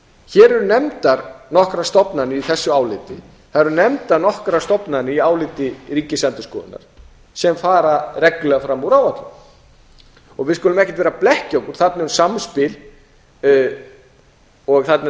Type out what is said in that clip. hér eru nefndar nokkrar stofnanir í þessu áliti það eru nefndar nokkrar stofnanir í áliti ríkisendurskoðunar sem fara reglulega fram úr áætlun við skulum ekkert ver að blekkja okkur þarna um samspil og